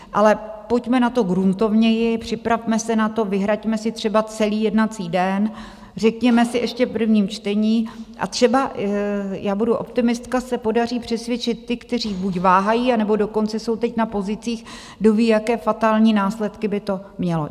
Ale pojďme na to gruntovněji, připravme se na to, vyhraďme si třeba celý jednací den, řekněme si ještě v prvním čtení, a třeba já budu optimistka, se podaří přesvědčit ty, kteří buď váhají, anebo dokonce jsou teď na pozicích, kdoví, jaké fatální následky by to mělo.